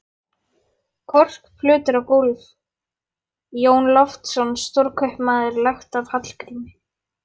Korkplötur á gólf: Jón Loftsson, stórkaupmaður, lagt af Hallgrími